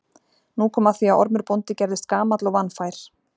Nú kom að því að Ormur bóndi gerðist gamall og vanfær.